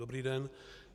Dobrý den.